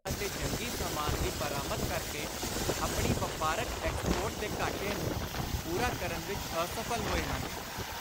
ਅਤੇ ਜੰਗੀ ਸਾਮਾਨ ਦੀ ਬਰਾਮਦ ਕਰਕੇ ਆਪਣੀ ਵਾਪਾਰਕ ਐਕਸਪੋਰਟ ਦੇ ਘਾਟੇ ਨੂੰ ਪੁਰਾ ਕਰਨ ਵਿਚ ਅਸਫਲ ਹੋਏ ਹਨ।